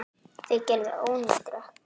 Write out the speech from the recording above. Það gerði ónýtur ökkli.